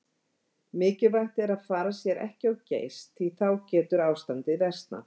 Mikilvægt er að fara sér ekki of geyst því að þá getur ástandið versnað.